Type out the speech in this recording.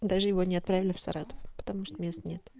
даже его не отправили в саратов потому что мест нет